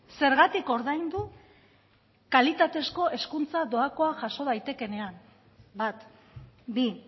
zergatik ordaindu kalitatezko hezkuntza doakoa jaso daitekeenean bat bi